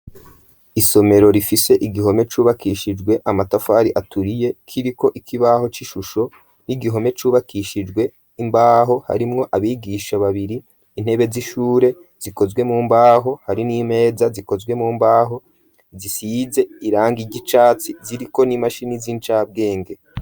isomero rifise igihome cubakishijwe amatafari aturiye k'iriko ikibaho c'ishusho n'igihome cubakishijwe imbaho harimwo abigisha babiri intebe z'ishure zikozwe mu mbaho hari n'imeza zikozwe mu mbaho zisize irangi zicatsi ziriko n'imashini z'incabwenge